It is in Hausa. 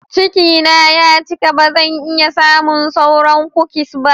Cikina ya cika, ba zan iya samun sauran kukis ba.